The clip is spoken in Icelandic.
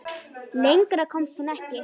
Lengra komst hún ekki.